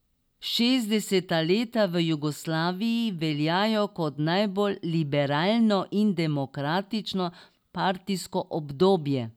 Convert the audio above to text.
Šestdeseta leta v Jugoslaviji veljajo kot najbolj liberalno in demokratično partijsko obdobje.